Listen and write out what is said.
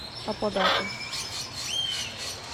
аподака